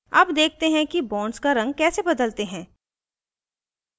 अब देखते हैं कि bonds का रंग कैसे बदलते हैं